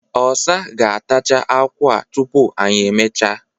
ọsa ga-atacha akwu a tụpu anyị emechaa.